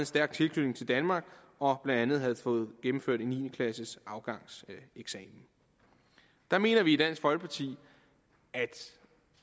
stærk tilknytning til danmark og blandt andet havde gennemført en niende klasseafgangseksamen der mener vi i dansk folkeparti at